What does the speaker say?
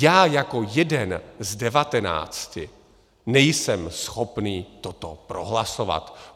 Já jako jeden z devatenácti nejsem schopen toto prohlasovat.